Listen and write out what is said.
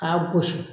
K'a gosi